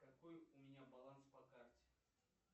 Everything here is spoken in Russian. какой у меня баланс по карте